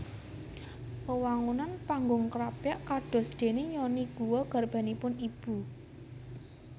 Wewangunan Panggung Krapyak kadosdene yoni guwa garbanipun ibu